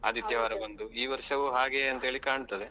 ಬಂದು ಈ ವರ್ಷವು ಹಾಗೆ ಅಂತೇಳಿ ಕಾಣ್ತದೆ.